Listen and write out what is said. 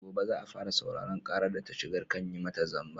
Gobe za a fara sauraron ƙarar da ta shigar kan yi mata zamba.